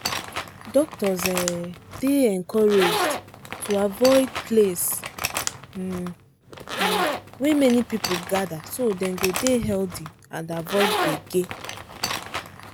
doctors um dey encouraged to avoid place um um wey many people gather so dem go dey healthy and avoid gbege.